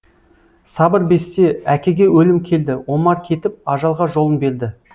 сабыр бесте әкеге өлім келді омар кетіп ажалға жолын берді